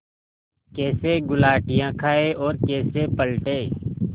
कैसे गुलाटियाँ खाएँ और कैसे पलटें